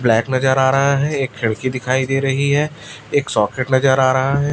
Black नजर आ रहा है एक खिड़की दिखाई दे रही है एक सॉकेट नजर आ रहा है।